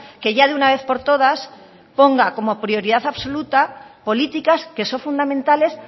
que ya de una vez por todas ponga como prioridad absoluta políticas que son fundamentales